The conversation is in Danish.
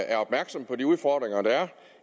er opmærksom på de udfordringer der er